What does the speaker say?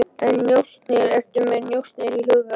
En njósnir, ertu með njósnir í huga?